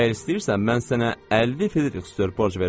Əgər istəyirsən, mən sənə 50 Frixedor borc verərəm.